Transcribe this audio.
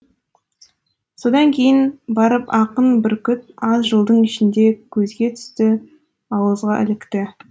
содан кейін барып ақын бүркіт аз жылдың ішінде көзге түсті ауызға ілікті